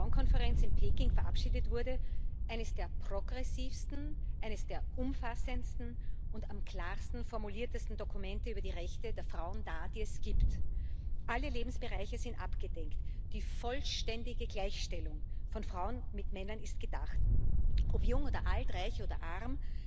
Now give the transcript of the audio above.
4. Weltfrauenkonferenz in Peking verabschiedet wurde, eines der progressivsten, eines der umfassendsten und am klarsten formulierten Dokumente über die Rechte der Frauen dar, die es gibt. Alle Lebensbereiche sind abgedeckt, die vollständige Gleichstellung von Frauen mit Männern ist gedacht ob jung oder alt, reich oder arm,